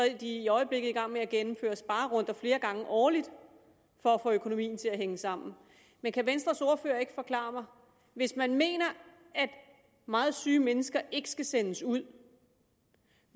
er de i øjeblikket i gang med at gennemføre sparerunder flere gange årligt for at få økonomien til at hænge sammen men kan venstres ordfører ikke forklare mig hvis man mener at meget syge mennesker ikke skal sendes ud